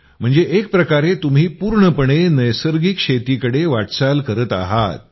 म्हणजे एक प्रकारे तुम्ही पूर्णपणे नैसर्गिक शेतीकडे वाटचाल करत आहात